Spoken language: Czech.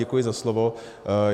Děkuji za slovo.